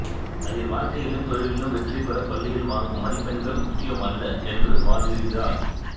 அதில் வாழ்க்கையிலும் தொழிலிலும் வெற்றிபெற பள்ளியில் வாங்கும் மதிப்பெண்கள் முக்கியம் அல்ல என்று வாதிடுகிறார்